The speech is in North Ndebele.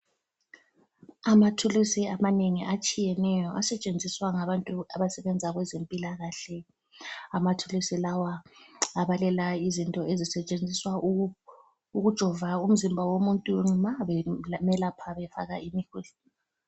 Amathuluzi amanengi atshiyeneyo asetshenziswa ngabantu abasebenza kwezempilakahle amathuluzi lawa abalelwa izinto ezisetshenziswa ukujova umzimba womuntu ma bemelapha befaka imi